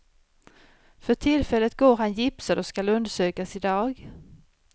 För tillfället går han gipsad och skall undersökas idag.